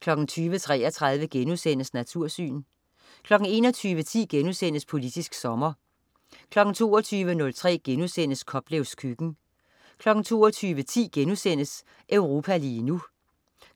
20.33 Natursyn* 21.10 Politisk sommer* 22.03 Koplevs køkken* 22.10 Europa lige nu*